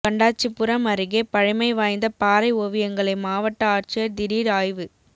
கண்டாச்சிபுரம் அருகே பழமைவாய்ந்த பாறை ஓவியங்களை மாவட்ட ஆட்சியர் திடீர் ஆய்வு